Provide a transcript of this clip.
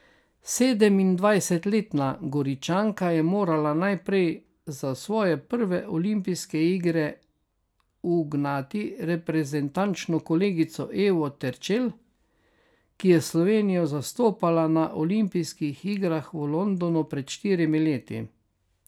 Sedemindvajsetletna Goričanka je morala najprej za svoje prve olimpijske igre ugnati reprezentančno kolegico Evo Terčelj, ki je Slovenijo zastopala na olimpijskih igrah v Londonu pred štirimi leti.